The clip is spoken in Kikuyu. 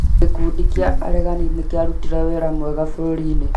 Gĩkundi kĩa aregani nĩ kĩarutire wĩra mwega bũrũri-inĩ